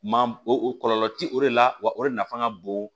Maa o kɔlɔlɔ ti o de la wa o de nafa ka bon